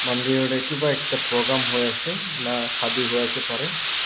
mandir tae kipa ekta program hoiase naa shadi hoiase parae--